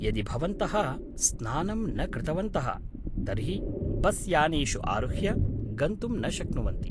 यदि भवन्तः स्नानं न कृतवन्तः तर्हि बस्यानेषु आरुह्य गन्तुं न शक्नुवन्ति।